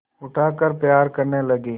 उठाकर प्यार करने लगी